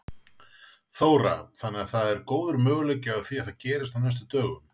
Þóra: Þannig að það er góður möguleiki á því að það gerist á næstu dögum?